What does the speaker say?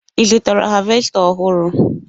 Ị zụtara havesta ọhụrụ?